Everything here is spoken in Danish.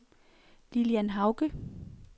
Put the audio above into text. Lillian Hauge